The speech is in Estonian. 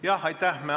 Jah, aitäh!